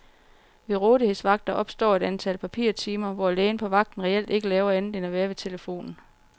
Ved rådighedsvagter opstår et antal papirtimer, hvor lægen på vagten reelt ikke laver andet end at være ved telefonen.